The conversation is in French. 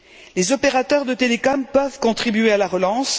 Les opérateurs de télécom peuvent contribuer à la relance.